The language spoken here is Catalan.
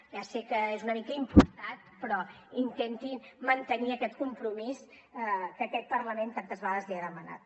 ja sé que és una mica impostat però intentin mantenir aquest compromís que aquest parlament tantes vegades els ha demanat